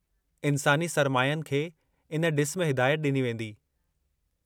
इन्सानी सरमायनि खे इन ड॒सु में हिदायत डि॒नी वेंदी।